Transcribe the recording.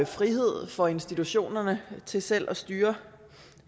frihed for institutionerne til selv at styre